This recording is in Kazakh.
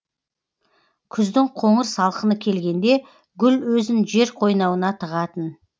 күздің қоңыр салқыны келгенде гүл өзін жер қойнауына тығатын